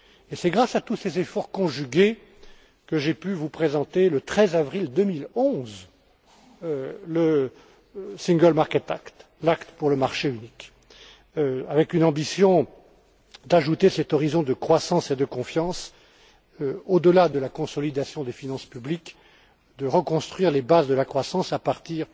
Et c'est grâce à tous ces efforts conjugués que j'ai pu vous présenter, le 13 avril 2011, l'acte pour le marché unique, avec une ambition d'ajouter cet horizon de croissance et de confiance au delà de la consolidation des finances publiques, de reconstruire les bases de la croissance à partir